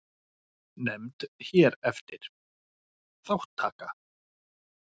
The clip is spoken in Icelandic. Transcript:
Nefnd hér eftir: Þátttaka.